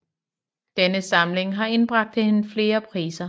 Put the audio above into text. Denne samling har indbragt hende flere priser